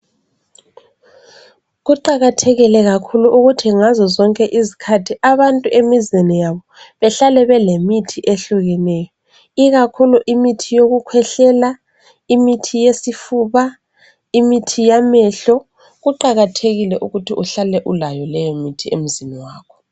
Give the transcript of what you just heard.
Kuqakathekile kakhulu ukuthi ngazo zonke izikhathi abantu emizini yabo behlale belemithi ehlukeneyo, ikakhulu imithi yokukhwehlela, imithi yesifuba, imithi yamehlo. Kuqakathekile ukuthi uhlale ulayo leyi mithi emzini wakho.